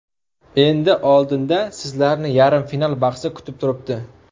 Endi oldinda sizlarni yarim final bahsi kutib turibdi.